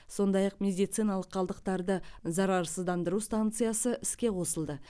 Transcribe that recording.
сондай ақ медициналық қалдықтарды зарарсыздандыру станциясы іске қосылды